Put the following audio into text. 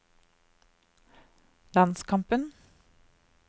landskampen